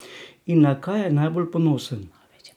In na kaj je najbolj ponosen?